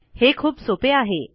हे खूप सोपे आहे